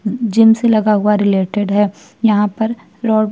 Gym से लगा हुआ रिलेटेड है। यहाँ पर रॉड --